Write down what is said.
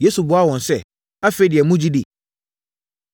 Yesu buaa wɔn sɛ. “Afei deɛ, mogye di?